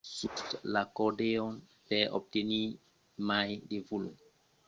sus l'acordeon per obtenir mai de volum utilitzatz los bofets amb mai de pression o de velocitat